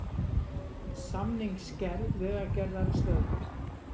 Samningsgerð Vegagerðar stöðvuð